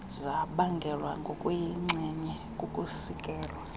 zabangelwa ngokuyinxenye kukusikelwa